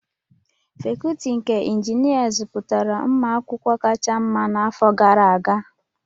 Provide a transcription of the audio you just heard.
Fakọọti nke Injinịarịn zụpụtara ụmụ akwụkwọ kacha mma n'afọ gara aga